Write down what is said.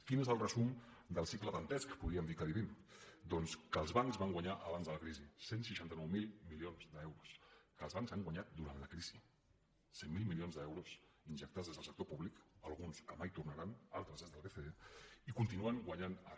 quin és el resum del cicle dantesc que podríem dir que vivim doncs que els bancs van guanyar abans de la crisi cent i seixanta nou mil milions d’euros que els bancs han guanyat durant la crisi cent miler milions d’euros injectats des del sector públic alguns que mai tornaran altres des del bce i continuen guanyant ara